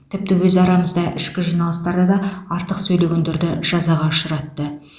тіпті өз арамызда ішкі жиналыстарда да артық сөйлегендерді жазаға ұшыратты